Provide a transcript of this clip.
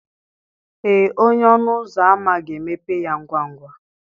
Ee onye ọnụ ụzọ ámá ga-emepe ya ngwa ngwa.